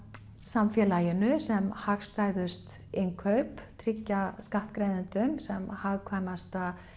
samfélaginu sem hagstæðust innkaup tryggja skattgreiðendum sem hagkvæmasta